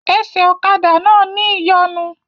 Ẹsẹ̀ ọ̀kadà náà ní ìyọnu